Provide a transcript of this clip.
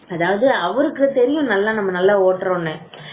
அதாவது அவருக்கு தெரியும் நல்லா நம்ம நல்லா ஓட்டுறோம் அப்படின்னு